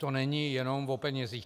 To není jenom o penězích.